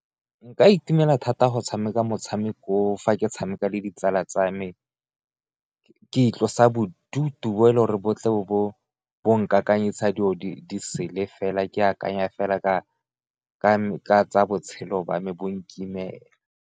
Nka itumela thata go tshameka motshameko oo fa ke tshameka le ditsala tsa me ke itlosa bodutu bo e leng gore bo tle bo nka kakanyisa dilo di sele fela ke akanya fela ka tsa botshelo jwa me bo nkimela.